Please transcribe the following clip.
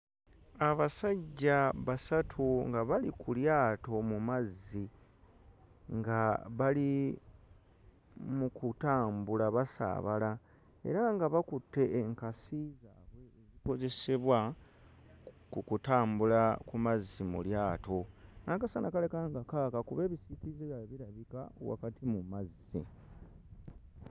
Abasajja basatu nga bali ku lyato mu mazzi nga bali mu kutambula basaabala era nga bakutte enkasi zaabwe ezikozesebwa ku kutambula ku mazzi mu lyato. N'akasana kalabika nga kaaka kuba ebisiikirize byabwe birabika wakati mu mazzi.